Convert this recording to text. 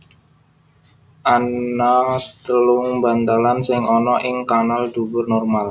Ana telung bantalan sing ana ing kanal dubur normal